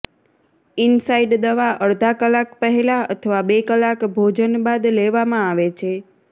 inside દવા અડધા કલાક પહેલાં અથવા બે કલાક ભોજન બાદ લેવામાં આવે છે